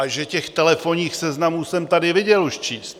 A že těch telefonních seznamů jsem tady už viděl číst!